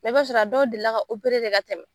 I b'a sɔrɔ a dɔw deli ka ka tɛmɛ.